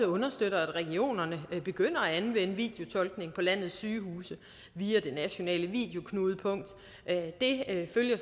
understøtter at regionerne begynder at anvende videotolkning på landets sygehuse via det nationale videoknudepunkt det følger